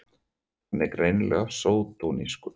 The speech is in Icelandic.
Hann er greinilega sódónískur!